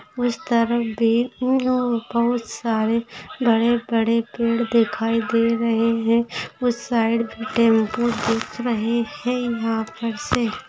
उस तरफ भी बहुत सारे बड़े-बड़े पेड़ दिखाई दे रहे है उस साइड टेम्पो दिख रहे है यहा पर से--